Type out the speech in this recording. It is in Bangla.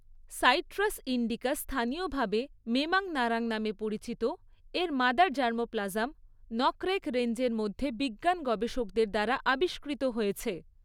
সাইট্রাস ইন্ডিকা স্থানীয়ভাবে মেমাং নারাং নামে পরিচিতের মাদার জার্মোপ্লাজম, নকরেক রেঞ্জের মধ্যে বিজ্ঞান গবেষকদের দ্বারা আবিষ্কৃত হয়েছে।